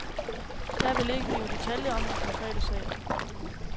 Jeg vil ikke give detaljer om den konkrete sag.